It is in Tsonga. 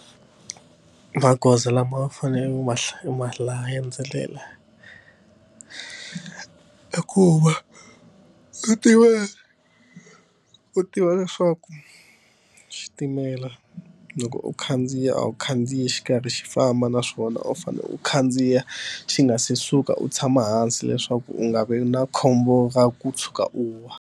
Magoza lama faneleke u ma u ma landzelela i ku va u tiva leswaku xitimela loko u khandziya a wu khandziyi xi karhi xi famba naswona u fanele u khandziya xi nga se suka u tshama hansi leswaku u nga vi na khombo ra ku tshuka u wa.